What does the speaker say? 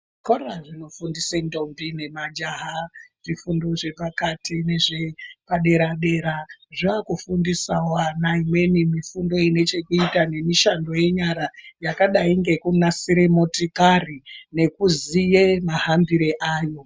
Zvikora zvinofundise ndombi nemajaha zvifundo zvepakati nezvepadera-dera, zvakufundisa vana imweni mifundo inechekuita nenyara. Yakadai nekunasire motikari nekuziye mahambire ayo.